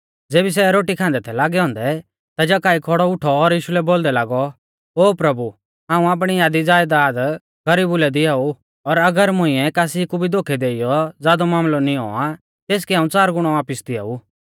ज़ेबी सै रोटी खांदै थै लागै औन्दै ता जक्कई खौड़ौ उठौ और यीशु लै बोलदै लागौ ओ प्रभु हाऊं आपणी आधी ज़यदाद गरीबु लै दिआऊ और अगर मुंइऐ कासी कु भी दोखै देइयौ ज़ादौ मामलौ निऔं आ तेसकै हाऊं च़ार गुणौ वापिस दिआऊ